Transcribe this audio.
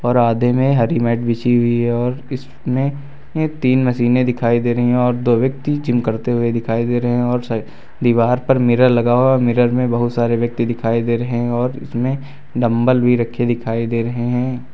और आधे में हरी मैट बिछी हुई है और इसमें तीन मशीनें दिखाई दे रही है और दो व्यक्ति जिम करते हुए दिखाई दे रहे और स दीवार पर मिरर लगा हुआ और मिरर में बहुत सारे व्यक्ति दिखाई दे रहे और इसमें डम्बल भी रखे दिखाई दे रहे हैं।